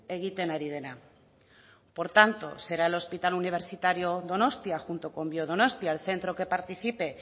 egiten ari dena por tanto será el hospital universitario donostia junto con biodonostia el centro que participe